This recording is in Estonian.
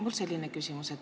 Mul on selline küsimus.